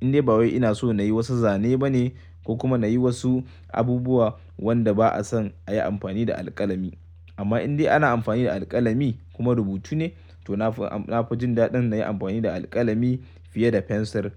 In dai ba wai ina so na yi wasu zane ba ne ko kuma na yi wasu abubuwa wanda ba'a son a yi amfani da alkalami. Amma in dai ana amfani da alkalami kuma rubutu ne, to na fi jin daɗin na yi amfani da alkalami fiye da pencil.